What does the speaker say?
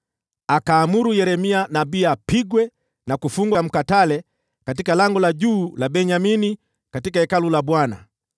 akaamuru Yeremia nabii apigwe na kufungwa kwenye mkatale katika Lango la Juu la Benyamini huko Hekaluni la Bwana .